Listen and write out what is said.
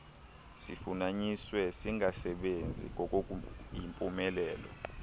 sifunyaniswe singasebenzi ngokuyimpumelelo